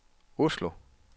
Oslo